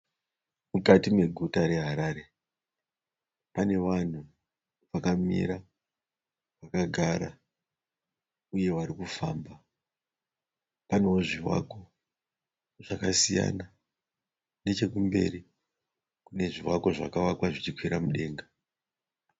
Mukati meguta reHarare. Pane vanhu vakamira, vakagara uye vari kufamba. Panewo zvivakwa zvakasiyana. Neche kumberi kune zvivakwa zvakavakwa zvichi kwira mudenga.